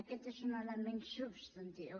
aquest és un element substantiu